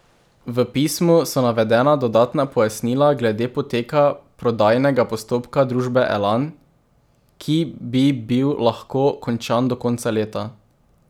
V pismu so navedena dodatna pojasnila glede poteka prodajnega postopka družbe Elan, ki bi bil lahko končan do konca leta.